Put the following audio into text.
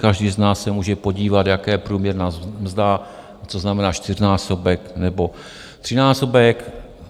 Každý z nás se může podívat, jaká je průměrná mzda, co znamená čtyřnásobek nebo trojnásobek.